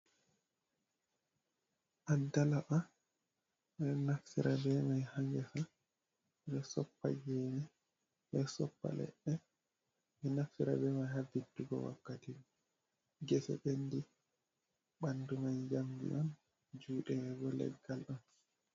Addalaba bedo naftirta be ma ha gesa, bedo soppa gene bedo soppa ledde beman bedo naftira be man ha vittugo wakkati gese bendi bandu man jamdi on jude manbo leggal on.